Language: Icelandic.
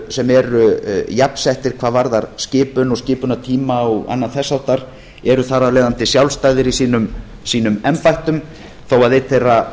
sem eru jafnsettir hvað varðar skipun og skipunartíma og annað þess háttar eru þar af leiðandi sjálfstæðir í sínum embættum þó að einn þeirra